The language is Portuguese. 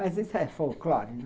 Mas isso é folclore, né?